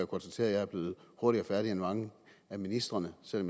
konstatere at jeg blev hurtigere færdig end mange af ministrene selv